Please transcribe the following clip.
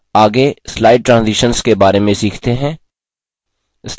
आगे slide transitions के बारे में सीखते हैं